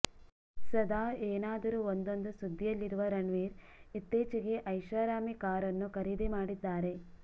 ಸದಾ ಏನಾದರೂ ಒಂದೊಂದು ಸುದ್ದಿಯಲ್ಲಿರುವ ರಣ್ವೀರ್ ಇತ್ತೀಚೆಗೆ ಐಷಾರಾಮಿ ಕಾರನ್ನು ಖರೀದಿ ಮಾಡಿದ್ದಾರೆ